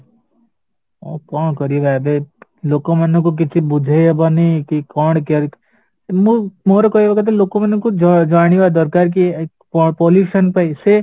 ଆଉ କଣ କରିବା ଏବେ ଲୋକ ମାନଙ୍କୁ କିଛି ବୁଝେଇ ହବନି କି କଣ କେମିତି ମୁଁ ମୋର କହିବା କଥା ଲୋକମାନଙ୍କୁ ଜାଣିବା ଦରକାର କି କଣ pollution ପାଇଁ ସେ